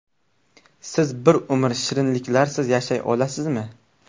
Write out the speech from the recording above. Siz bir umr shirinliklarsiz yashay olasizmi?